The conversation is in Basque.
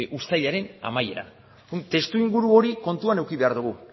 uztailaren amaieran testuinguru hori kontuan eduki behar dugu